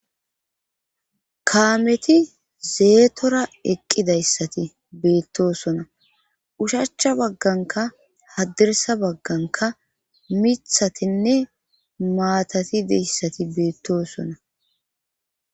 Kaameti zeetora eqqidayssati beettosona ushacha bagganka haddirsa bagganka mithatinne maatatideyssati beettosona